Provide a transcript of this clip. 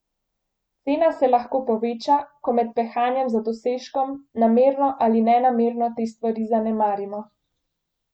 Cena se lahko poveča, ko med pehanjem za dosežkom namerno ali nenamerno te stvari zanemarimo.